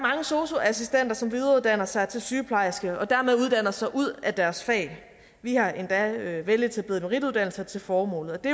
sosu assistenter som videreuddanner sig til sygeplejerske og dermed uddanner sig ud af deres fag vi har endda veletablerede merituddannelser til formålet og det